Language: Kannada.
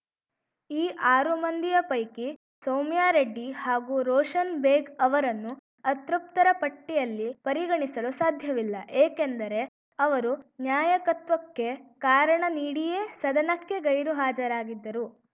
ಈ ಆರು ಮಂದಿಯ ಪೈಕಿ ಸೌಮ್ಯಾರೆಡ್ಡಿ ಹಾಗೂ ರೋಷನ್‌ ಬೇಗ್‌ ಅವರನ್ನು ಅತೃಪ್ತರ ಪಟ್ಟಿಯಲ್ಲಿ ಪರಿಗಣಿಸಲು ಸಾಧ್ಯವಿಲ್ಲ ಏಕೆಂದರೆ ಅವರು ನ್ಯಾಯಕತ್ವಕ್ಕೆ ಕಾರಣ ನೀಡಿಯೇ ಸದನಕ್ಕೆ ಗೈರು ಹಾಜರಾಗಿದ್ದರು